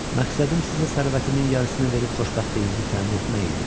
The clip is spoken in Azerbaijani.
Məqsədim sizə sərvətimin yarısını verib xoşbəxtliyinizi təmin etmək idi.